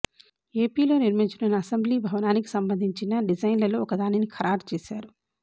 ఏపీలో నిర్మించనున్న అసెంబ్లీ భవనానికి సంబంధించిన డిజైన్లలో ఒక దానిని ఖరారు చేశారు